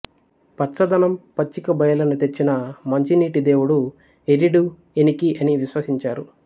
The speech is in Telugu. పచ్చదనం పచ్చిక బయళ్ళను తెచ్చిన మంచినీటి దేవుడు ఎరిడు ఎనికీ అని విశ్వసించారు